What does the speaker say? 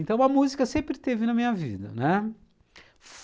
Então a música sempre esteve na minha vida, né?